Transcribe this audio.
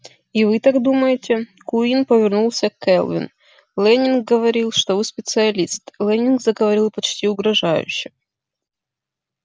и вы так думаете куинн повернулся к кэлвин лэннинг говорил что вы специалист лэннинг заговорил почти угрожающе